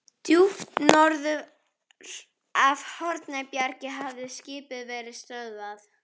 Djúpt norður af Hornbjargi hafði skipið verið stöðvað.